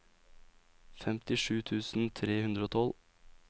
femtisju tusen tre hundre og tolv